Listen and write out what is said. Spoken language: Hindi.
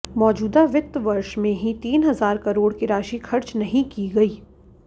मौजूदा वित्त वर्ष में ही तीन हजार करोड़ की राशि खर्च नहीं की गई